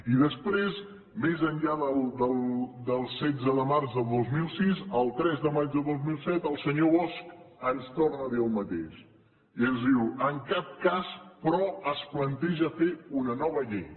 i després més enllà del setze de març del dos mil sis el tres de maig del dos mil set el senyor bosch ens torna a dir el mateix i ens diu en cap cas però es planteja fer una nova llei